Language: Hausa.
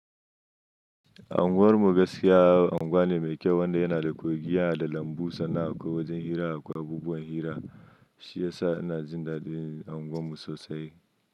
Anguwar mu gaskiya anguwa ne mai kyau wanda yana da kogin yana da lambu sana'a kuma wajen hira da kuma abubuwan hira. Shi ya sa ina jin daɗin unguwar mu sosai.